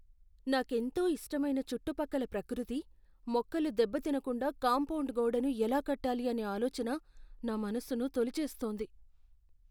నాకెంతో ఇష్టమైన చుట్టుపక్కల ప్రకృతి, మొక్కలు దెబ్బతినకుండా కాంపౌండ్ గోడను ఎలా కట్టాలి అనే ఆలోచన నా మనసును తొలిచేస్తోంది.